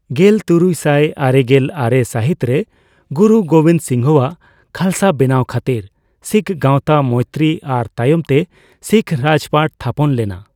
ᱜᱮᱞᱛᱩᱨᱩᱭ ᱥᱟᱭ ᱟᱨᱮᱜᱮᱞ ᱟᱨᱮ ᱥᱟᱹᱦᱤᱛ ᱨᱮ ᱜᱩᱨᱩ ᱜᱳᱵᱤᱱᱫᱚ ᱥᱤᱝᱦᱚᱣᱟᱜ ᱠᱷᱟᱞᱥᱟ ᱵᱮᱱᱟᱣ ᱠᱷᱟᱹᱛᱤᱨ ᱥᱤᱠᱷ ᱜᱟᱣᱛᱟ ᱢᱳᱭᱛᱨᱤ ᱟᱨ ᱛᱟᱭᱚᱢᱛᱮ ᱥᱤᱠᱷ ᱨᱟᱡᱽᱯᱟᱴ ᱛᱷᱟᱯᱚᱱ ᱞᱮᱱᱟ ᱾